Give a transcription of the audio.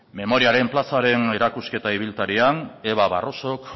memoriaren plazaren erakusketa ibiltarian eva barroso